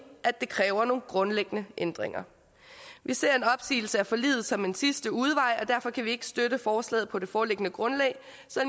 at det kræver nogle grundlæggende ændringer vi ser en opsigelse af forliget som en sidste udvej og derfor kan vi ikke støtte forslaget på det foreliggende grundlag